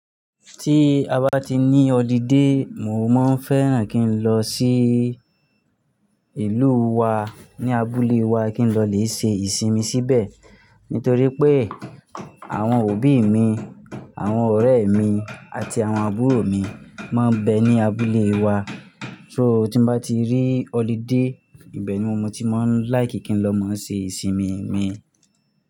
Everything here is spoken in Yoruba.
Tí a bá ti ní holiday, mo máa ń fẹ́ràn kí n lọ sí ìlú wa ní abúlé wa, kí n lọ lè ṣe ìsinmi síbẹ̀. Nítorí pé àwọn òbí mi, àwọn ọ̀rẹ́ mi àti àwọn àbúrò mi máa ń bẹ ní abúlé wa. So tí mo bá ti rí holiday, ibẹ̀ ni mo mọ tí mà ń like kí n lọ máa ṣe ìsinmi mi.